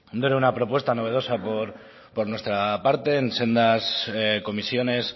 no era una propuestas novedosa por nuestra parte en sendas comisiones